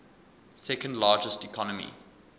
second largest economy